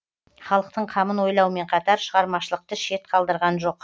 халықтың қамын ойлаумен қатар шығармашылықты шет қалдырған жоқ